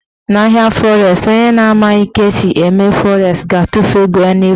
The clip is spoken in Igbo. Na ahịa fọres, onye na amaghị ka esi eme fọres ga-atụfu ego ya n'efu.